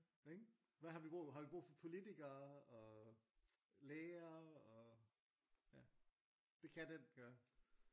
Ikke? Hvad har vi brug har vi brug for politikere og læger og det kan den gøre